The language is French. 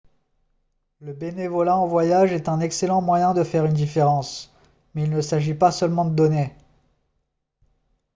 le bénévolat en voyage est un excellent moyen de faire une différence mais il ne s'agit pas seulement de donner